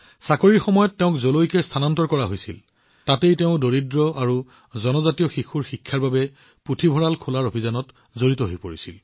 চাকৰিৰ সময়ত তেওঁক যতেই স্থানান্তৰ কৰা হৈছিল ততেই তেওঁ দৰিদ্ৰ আৰু জনজাতীয় শিশুসকলৰ শিক্ষাৰ বাবে এটা পুথিভঁৰাল খোলাৰ অভিযানত জড়িত হৈছিল